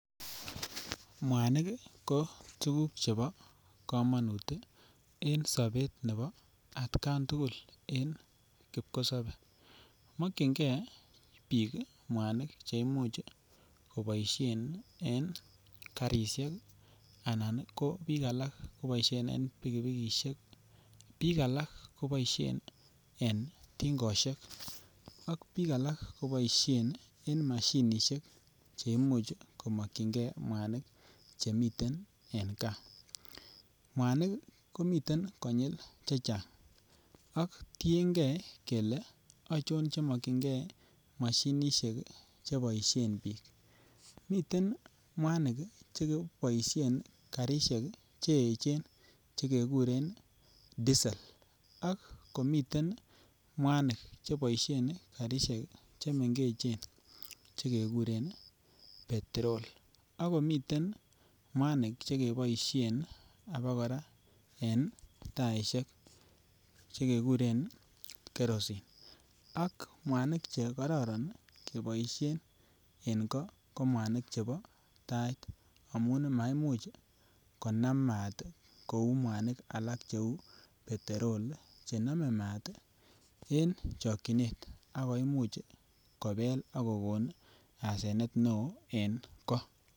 Mwanik ko tuguk chebo komonut en sobet nebo atkan tugul en kipkosobe mokyin ge bik mwanik Che Imuch koboisien en karisiek anan ko bik alak koboi en pikipikisiek bik alak koboisien en tingosiek ak bik alak koboisien en mashinisiek Che Imuch komokyinge mwanik Che miten en gaa mwanik komiten konyil chechang ak tienge kele achon mokyinge mashinisiek miten mwanik Che boisien karisiek Che echen Che keguren diesel ak komiten mwanik cheboisen karisiek chemengechen Che keguren petrol ak komiten mwanik Che Ke boisien abakoraa en taisiek Che Ke kuren kerosene ak mwanik Che kororon keboisien en goo ko mwanik chebo Tait amun maimuch Konam maat kou mwanik alak cheu petrol chenome maat en chokyinet ak koimuch kobel ak kokon asenet neo en goo